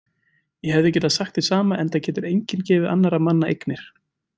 Ég hefði sagt hið sama enda getur enginn gefið annarra manna eignir.